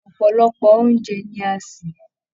Ọpọlọpọ oúnjẹ ní a n ṣe.